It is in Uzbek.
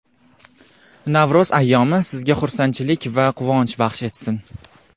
Navro‘z ayyomi sizga xursandchilik va quvonch baxsh etsin.